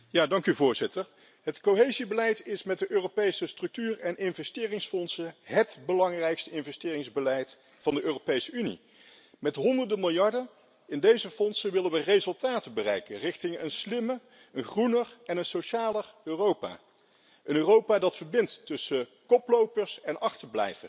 Voorzitter, het cohesiebeleid is met de Europese structuur en investeringsfondsen hét belangrijkste investeringsbeleid van de Europese Unie. Met honderden miljarden in deze fondsen willen we resultaten bereiken richting een slimmer, een groener en een socialer Europa, een Europa dat koplopers en achterblijvers